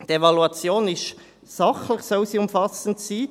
Die Evaluation soll sachlich umfassend sein.